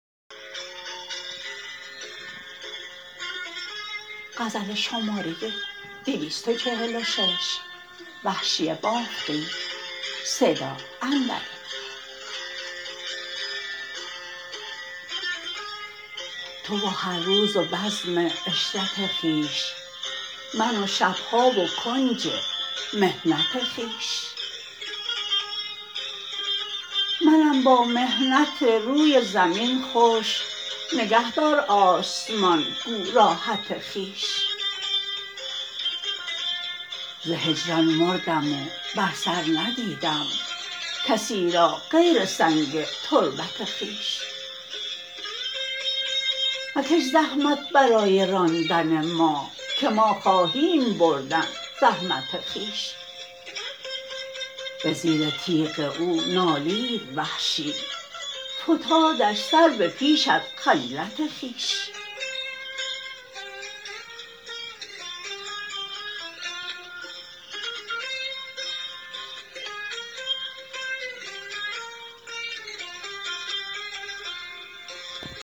تو و هر روز و بزم عشرت خویش من و شبها و کنج محنت خویش منم با محنت روی زمین خوش نگه دار آسمان گو راحت خویش ز هجران مردم و بر سر ندیدم کسی را غیر سنگ تربت خویش مکش زحمت برای راندن ما که ما خواهیم بردن زحمت خویش به زیر تیغ او نالید وحشی فتادش سربه پیش از خجلت خویش